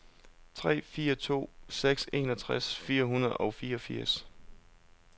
tre fire to seks enogtres fire hundrede og fireogfirs